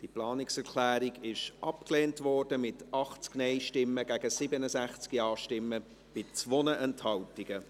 Diese Planungserklärung wurde abgelehnt, mit 80 Nein- gegen 67 Ja-Stimmen bei 2 Enthaltungen.